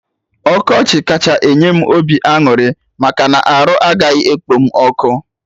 Ọkọchị kacha enye m obi aṅụrị maka na arụ agaghị ekpom ọkụ